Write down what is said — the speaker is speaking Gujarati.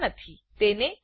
તેને ઇન્ફિનાઇટ લૂપ